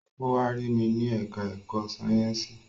Ó wá rí mi ní ẹ̀ká ẹ̀kọ́ Sáyẹ̀nsì